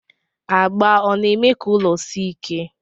Agba ọna eme ka ụlọ si ike?